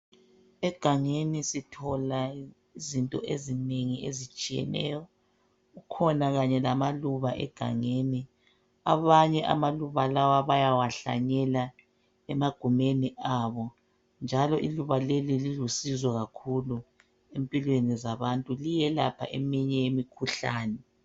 Egangeni sithola izinto ezinengi ezitshiyeneyo. Kukhona kanye lamaluba egangeni. Abanye amaluba lawa bayawahlanyela emagumeni abo. Njalo iluba leli lilusizo kakhulu empilweni zabantu liyelapha eminye imikhuhlane.